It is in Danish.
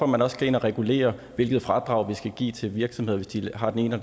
man også skal ind og regulere hvilket fradrag vi skal give til virksomheder hvis de har den ene